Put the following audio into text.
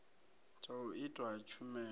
tsha u itwa ha tshumelo